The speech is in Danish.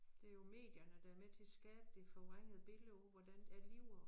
Det jo medierne der med til at skabe det forvrængede billede af hvordan er livet